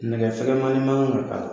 Nɛgɛ fɛgɛmannin man ka k'a la